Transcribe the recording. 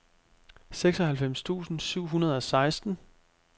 seksoghalvfems tusind syv hundrede og seksten